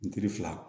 N kiri fila